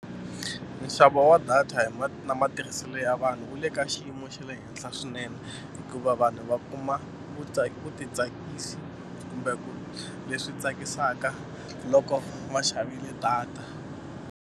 Nxavo wa data hi ma na matirhiselo ya vanhu wu le ka xiyimo xa le henhla swinene hikuva vanhu va kuma vutitsakisi kumbe ku leswi tsakisaka loko va xavile data.